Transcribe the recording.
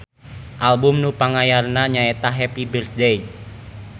Album nu panganyarna nya eta Happy Birthday.